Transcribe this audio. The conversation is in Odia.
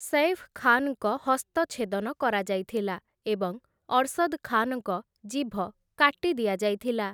ସୈଫ୍ ଖାନ୍‌ଙ୍କ ହସ୍ତ ଛେଦନ କରାଯାଇଥିଲା ଏବଂ ଅର୍‌ସଦ ଖାନଙ୍କ ଜିଭ କାଟି ଦିଆଯାଇଥିଲା ।